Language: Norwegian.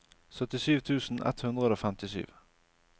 syttisju tusen ett hundre og femtisju